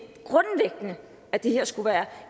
at det her skulle være